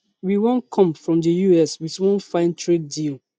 we wan come from di us wit one fine trade deal